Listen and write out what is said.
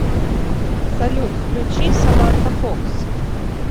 салют включи саманта фокс